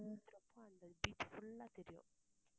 ரொம்ப அந்த beach full ஆ தெரியும்